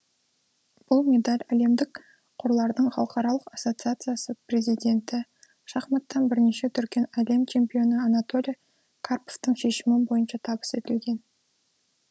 бұл медаль әлемдік қорлардың халықаралық ассосациясы президенті шахматтан бірнеше дүркін әлем чемпионы анатоли карповтың шешімі бойынша табыс етілген